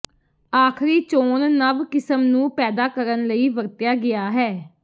ਆਖਰੀ ਚੋਣ ਨਵ ਕਿਸਮ ਨੂੰ ਪੈਦਾ ਕਰਨ ਲਈ ਵਰਤਿਆ ਗਿਆ ਹੈ